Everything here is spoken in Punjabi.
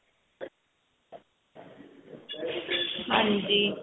ਹਾਂਜੀ